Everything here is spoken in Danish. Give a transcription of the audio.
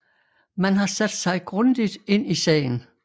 Man har sat sig grundigt ind i sagen